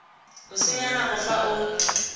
o senya nako fa o